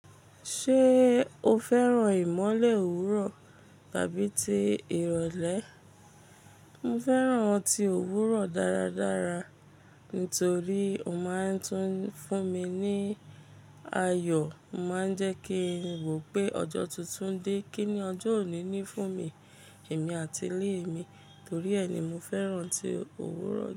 Ṣé o fẹ́ràn ìmọ́lẹ̀ òwúrọ̀ tàbí ti ìrọ̀lẹ́? Mo fẹ́ràn ti òwúrọ̀ dáradára nitorí ó máa ń tún fún mi ní ayọ̀, ó máa ń jẹ́ kí n wo pé ọjọ́ tuntun dé, kíni ọjọ́ òní ní fún mi, èmi àti ilé mi, torí ẹ ni mo fẹ́ràn tí òwúrọ̀